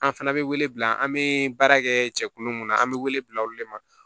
An fana bɛ wele bila an bɛ baara kɛ cɛkulu mun na an bɛ wele bila olu de ma